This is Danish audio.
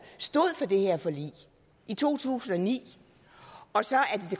stod for det her forlig i to tusind og ni